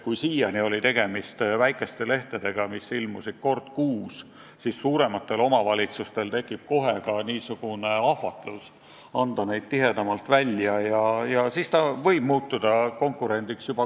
Kui siiani oli tegemist väikeste lehtedega, mis ilmusid kord kuus, siis suurematel omavalitsustel tekib kohe ahvatlus anda infolehti tihedamalt välja ja siis ta võib muutuda kellelegi konkurendiks.